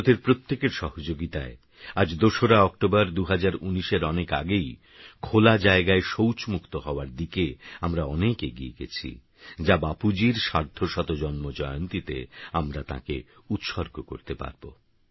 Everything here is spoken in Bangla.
ভারতেরপ্রত্যেকেরসহযোগিতায়আজ২রাঅক্টোবর ২০১৯এরঅনেকআগেইখোলাজায়গায়শৌচমুক্তহওয়ারদিকেআমরাঅনেকএগিয়েগেছিযাবাপুজীরসার্ধশতজন্মজয়ন্তীতেতাঁকেআমরাউৎসর্গকরতেপারব